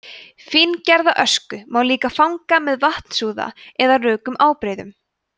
fíngerða ösku má líka fanga með vatnsúða eða rökum ábreiðum